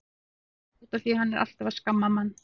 Davíð: Út af því að hann er alltaf að skamma mann.